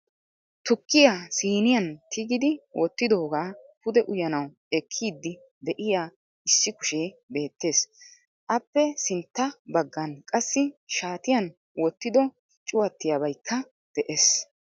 Tukkiyaa siiniyaan tigidi wottidooga pude uyyanaw ekkiidi de'iyaa issi kushee beettees. Appe sintya baggan qassi shaatiyan wottido cuwaatiyaabaykka de'ees .